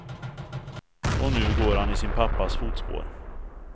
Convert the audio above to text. Och nu går han i sin pappas fotspår.